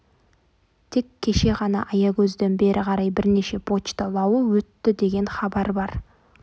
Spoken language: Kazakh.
тек кеше ғана аягөзден бері қарай бірнеше почта лауы өтті деген хабар бар